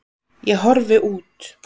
Ég horfi út.